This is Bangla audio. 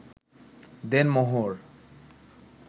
দেনমোহর